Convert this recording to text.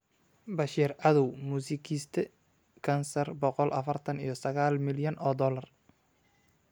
Bashir cadow Muusikiiste (kansar) boqol afartan iyo sagal milyan oo doolar.